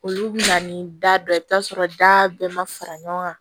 Olu bɛ na ni da dɔ ye i bɛ t'a sɔrɔ da bɛɛ ma fara ɲɔgɔn kan